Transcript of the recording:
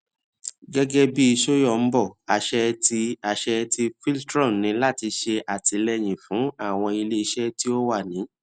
gẹgẹbi soyombo aṣẹ ti aṣẹ ti voltron ni lati ṣe atilẹyin fun awọn ileiṣẹ ti o wa ni